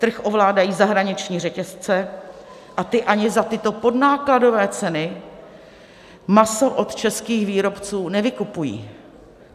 Trh ovládají zahraniční řetězce a ty ani za tyto podnákladové ceny maso od českých výrobců nevykupují.